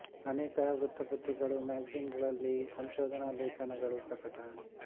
ಅನೇಕ ವೃತ್ತ ಪತ್ರಿಕೆಗಳು ಮ್ಯಾಗಜೀನ್ ಗಳಲ್ಲಿ ಸಂಶೋಧನಾ ಲೇಖನಗಳು ಪ್ರಕಟ